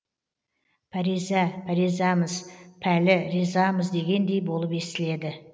пәриза пәризамыз пәлі ризамыз дегендей болып естіледі